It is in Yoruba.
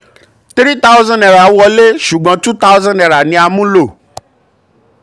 three thousand naira wọlé ṣùgbọ́n two thousand naira ni a mú lọ.